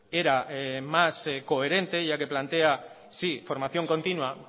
era más coherente ya que plantea sí formación continua